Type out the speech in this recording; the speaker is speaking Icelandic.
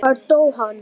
Hvar dó hann?